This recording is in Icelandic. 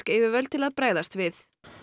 yfirvöld til að bregðast við